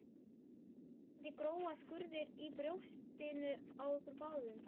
Vonandi gróa skurðir í brjóstinu á okkur báðum